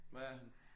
Hvad er han?